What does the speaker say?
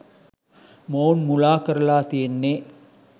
මොවුන් මුලා කරලා තියෙන්නේ.